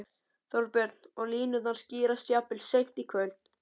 Þorbjörn: Og línurnar skýrast jafnvel seint í kvöld?